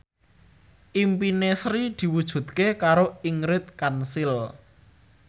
impine Sri diwujudke karo Ingrid Kansil